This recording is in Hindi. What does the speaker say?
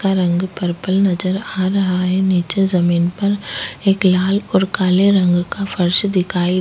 का रंग पर्पल नजर आ रहा है नीचे जमीन पर एक लाल और काले रंग का फर्श दिखाई --